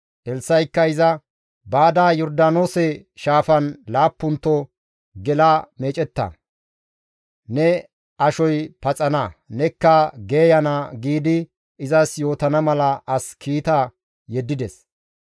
Elssa7ikka iza, «Baada Yordaanoose shaafan laappunto gela meecetta; ne ashoy paxana; nekka geeyana» giidi izas yootana mala as kiita yeddides.